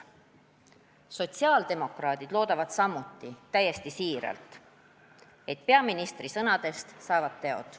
" Sotsiaaldemokraadid loodavad samuti täiesti siiralt, et peaministri sõnadest saavad teod.